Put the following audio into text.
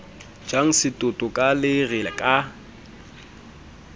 jang setoto ka lere ka